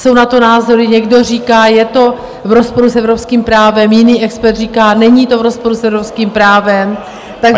Jsou na to názory - někdo říká, je to v rozporu s evropským právem, jiný expert říká, není to v rozporu s evropským právem, takže...